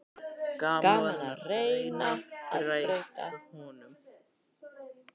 Gaman að reyna að breyta honum.